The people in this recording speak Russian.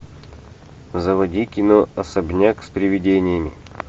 заводи кино особняк с привидениями